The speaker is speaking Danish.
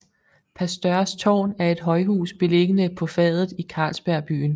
Pasteurs Tårn er et højhus beliggende på Fadet i Carlsberg Byen